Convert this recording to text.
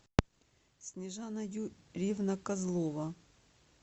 снежана юрьевна козлова